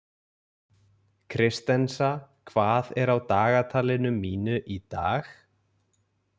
Kristensa, hvað er á dagatalinu mínu í dag?